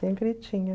Sempre tinha.